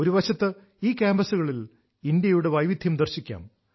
ഒരു വശത്ത് ഈ കാമ്പസുകളിൽ ഇന്ത്യയുടെ വൈവിധ്യം ദർശിക്കാം